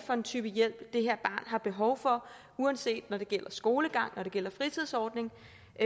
for en type hjælp det her har behov for uanset når det gælder skolegang når det gælder fritidsordning